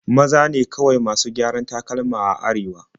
Maza ne kawai masu gyaran takalma a Arewa.